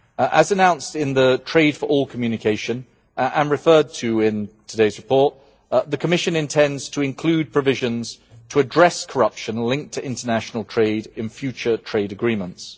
As announced in the Trade for All communication and referred to in today's report, the Commission intends to include provisions to address corruption linked to international trade in future trade agreements.